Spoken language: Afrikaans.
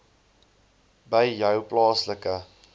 by jou plaaslike